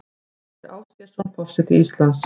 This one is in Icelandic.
Ásgeir Ásgeirsson forseti Íslands